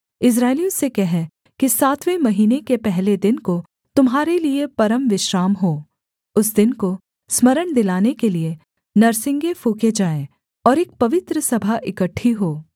इस्राएलियों से कह कि सातवें महीने के पहले दिन को तुम्हारे लिये परमविश्राम हो उस दिन को स्मरण दिलाने के लिये नरसिंगे फूँके जाएँ और एक पवित्र सभा इकट्ठी हो